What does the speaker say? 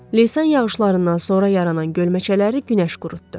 Leysan yağışlarından sonra yaranan gölməçələri günəş qurutdu.